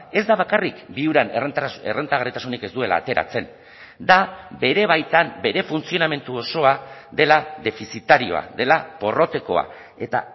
ez da bakarrik viuran errentagarritasunik ez duela ateratzen da bere baitan bere funtzionamendu osoa dela defizitarioa dela porrotekoa eta